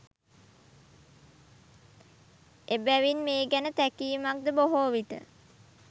එබැවින් මේ ගැන තැකීමක්ද බොහෝ විට